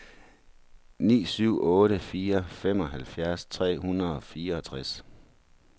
ni syv otte fire femoghalvfjerds tre hundrede og fireogtres